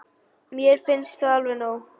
Mér finnst það alveg nóg.